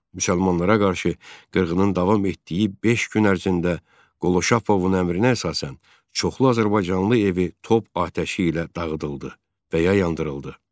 Müsəlmanlara qarşı qırğının davam etdiyi beş gün ərzində Qolşapovun əmrinə əsasən çoxlu azərbaycanlı evi top atəşi ilə dağıdıldı və ya yandırıldı.